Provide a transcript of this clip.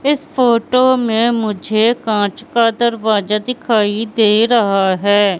इस फोटो में मुझे कांच का दरवाजा दिखाई दे रहा है।